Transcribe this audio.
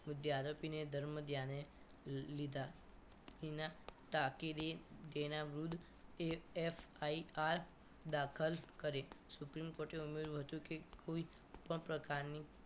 મુદ્દે આરોપીને ધર્મધ્યાને લીધા તેના કાકી રે રૂદ એ એફ આઈ આર દાખલ કરી supreme court ઉમેર્યું હતું કે કોઈ પણ પ્રકારની